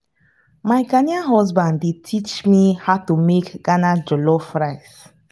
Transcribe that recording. my ghanaian husband dey teach me how to make ghana jollof rice